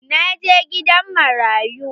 Na je gidan marayu.